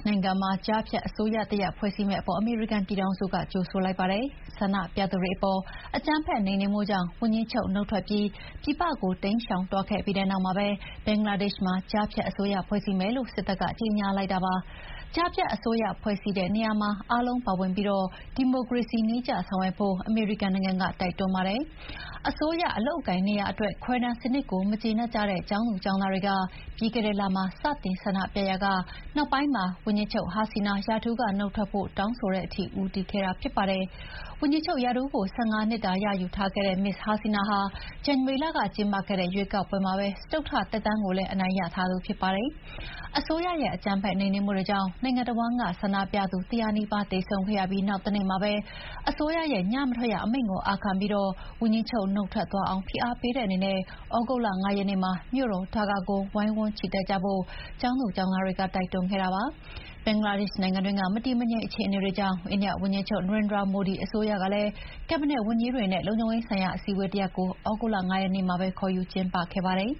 ်နိုင်ငံမှာ ကြားဖြတ်အစိုးရတရပ်ဖွဲ့စည်းလိုက်တာကို အမေရိကန်နိုင်ငံက ကြိုဆိုလိုက်ပါတယ်။ ဆန္ဒပြသူတွေအပေါ် အကြမ်းဖက်နှိမ်နှင်းမှုကြောင့် ဝန်ကြီးချုပ်နုတ်ထွက်ပြီး ပြည်ပကိုတိမ်းရှောင်သွားခဲ့ပြီး တဲ့နောက် ဘင်္ဂလားဒေ့ရှ်မှာ ကြားဖြတ်အစိုးရဖွဲ့စည်းမယ်လို့ စစ်တပ်က ကြေညာလိုက်တာပါ။ ကြားဖြတ်အစိုးရဖွဲ့စည်းတဲ့နေရာမှာ အားလုံးပါဝင်ပြီး ဒီမိုကရေစီနည်းကျဆောင်ရွက်ဖို့ အမေရိကန်နိုင်ငံက တိုက်တွန်းပါတယ်။ အစိုးရအလုပ်အကိုင်နေရာအတွက် ခွဲတမ်းစနစ်ကိုမကျေနပ်တဲ့ကျောင်းသားတွေက ပြီးခဲ့တဲ့လမှာ စတင်ဆန္ဒပြရာက နောက်ပိုင်းမှာ ဝန်ကြီးချုပ်ဟာစီနာ ရာထူးကထွက်ဖို့တောင်းဆိုတဲ့အထိ ဦးတည်ခဲ့တာ ဖြစ်ပါတယ်။ ဝန်ကြီးချုပ်ရာထူးကို ၁၅ နှစ်တာရယူထားတဲ့ မစ္စ်ဟာစီနာဟာ ဇန်နဝါရီလကကျင်းပတဲ့ ရွေးကောက်ပွဲမှာပဲ စတုတ္ထသက်တမ်းကိုလည်း အနိုင်ရထားတာဖြစ်ပါတယ်။အစိုးရရဲ့ အကြမ်းဖက်နှိမ်နှင်းမှုကြောင့် နိုင်ငံတဝန်းက ဆန္ဒပြသူတရာနီးပါးသေဆုံးခဲ့ရပြီးနောက်တနေ့မှာပဲ အစိုးရရဲ့ ညမထွက်ရအမိန့်ကိုအာခံပြီး ဝန်ကြီးချုပ် နုတ်ထွက်သွားအောင် ဖိအားပေးတဲ့အနေနဲ့ သြဂုတ်လ ၅ ရက်နေ့မှာ မြို့တော်ဒါကာကို ဝိုင်းဝန်းချီတက်ကြဖို့ ကျောင်းသားတွေက တိုက်တွန်းခဲ့ပါတယ်။ ဘင်္ဂလားဒေ့ရှ်နိုင်ငံတွင်းက မတည်မငြိမ်အခြေအနေတွေကြောင့် အိန္ဒိယနိုင်ငံမှာလည်း ဝန်ကြီးချုပ် နရိန်ဒရာမိုဒီက အစိုးရကက်ဘိနက်ဝန်ကြီးတွေနဲ့ လုံခြုံရေးဆိုင်ရာအစည်းအဝေးတရပ်ကို သြဂုတ်လ ၅ ရက်နေ့မှာပဲ ခေါ်ယူကျင်းပခဲ့ပါတယ်